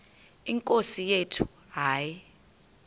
nkosi yethu hayi